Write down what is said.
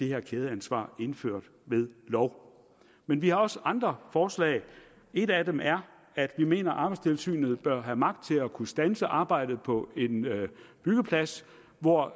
her kædeansvar indført ved lov men vi har også andre forslag et af dem er at vi mener arbejdstilsynet bør have magt til at kunne standse arbejdet på en byggeplads hvor